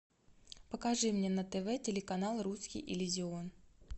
покажи мне на тв телеканал русский иллюзион